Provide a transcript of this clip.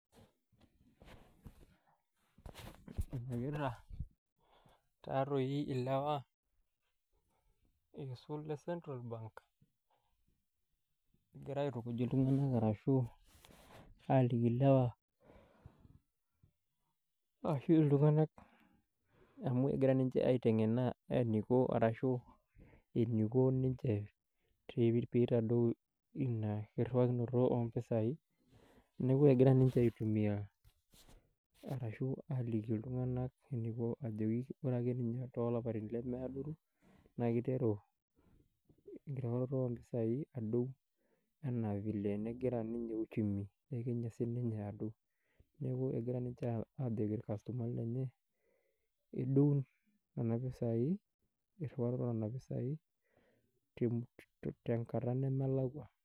Enyokita, taatoi ilewa, eisul ile central bank, ekira aitukuj iltunganak arashu aaliki ilewa, ashu iltunganak amu ekira ninche aitengen eniko arashu, eniko ninche pee itadou inia kiriwakinoto oompisai. Neeku ekira ninche aitumia arashu aaliki iltunganak eniko ajo, wore ake ninye toolapaitin lemeadoru, naa kiteru, enkirruaroto oompisai aadou, enaa vile nekira ninye uchumi ekenya sininye adou. Neeku ekira ninche aajoki orkastomani lenye, edou niana pisai, enkirruaroto ooniana pisai, tenkata nemelakwa.